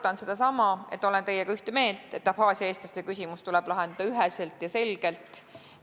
Kordan sedasama: olen teiega ühte meelt, et Abhaasia eestlaste küsimus tuleb lahendada üheselt ja selgelt.